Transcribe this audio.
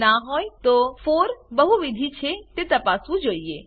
જો ના હોય તો 4 બહુવિધ છે તે તપાસવું જોઈએ